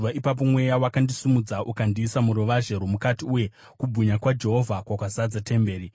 Ipapo mweya wakandisimudza ukandiisa muruvazhe rwomukati, uye kubwinya kwaJehovha kwakazadza temberi.